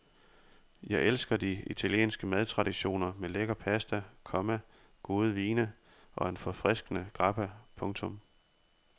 Jeg elsker de italienske madtraditioner med lækker pasta, komma gode vine og en forfriskende grappa. punktum